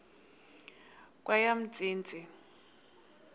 kweyomntsintsi